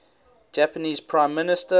japanese prime minister